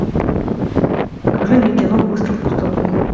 покажи мне кино выстрел в пустоту